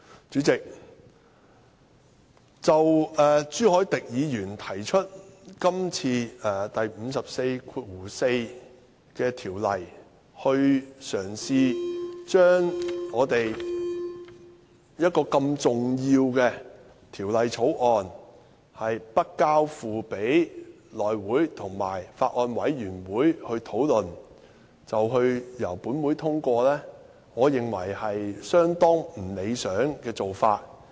主席，就朱凱廸議員今次根據《議事規則》第544條提出的議案，嘗試將這項如此重要的《條例草案》不交付內務委員會及法案委員會處理，便由立法會通過，我認為是相當不理想的做法。